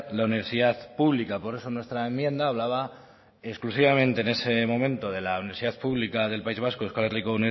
la universidad pública por eso nuestra enmienda hablaba exclusivamente en ese momento de la universidad pública del país vasco euskal herriko